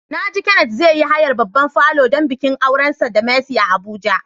Na ji Kenneth zai yi hayar babban falo don bikin aurensa da Mercy a Abuja.